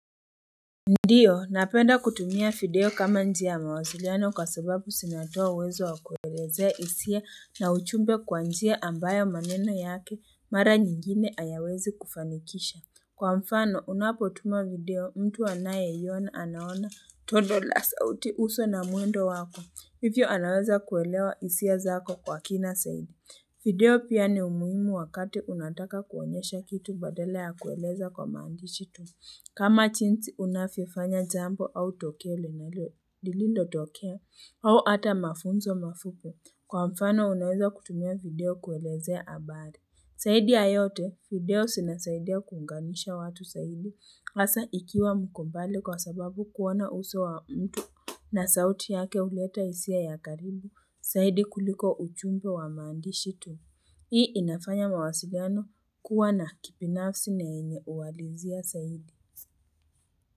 Ndiyo, napenda kutumia video kama njia ya mawasiliano kwa sababu zinatoa uwezo wa kuelezea hisia na ujumbe kwa njia ambayo maneno yake mara nyingine hayawezi kufanikisha. Kwa mfano, unapotuma video mtu anayeiona anaona tundu la sauti, uso na mwendo wako. Hivyo anaweza kuelewa hisia zako kwa kina zaidi. Video pia ni muhimu wakati unataka kuonyesha kitu badala ya kueleza kwa maandishi tu. Kama jinsi unavyofanya jambo au tokee lenye hilo lilivyotokea au hata mafunzo mafupi, kwa mfano unaweza kutumia video kuelezea habari. Zaidi ya yote, video zinasaidia kuunganisha watu zaidi, hasa ikiwa mko mbali kwa sababu kuona uso wa mtu na sauti yake huleta hisia ya karibu zaidi kuliko ujumbe wa maandishi tu. Hii inafanya mawasiliano kuwa na kibinafsi na yenye uwalizia zaidi.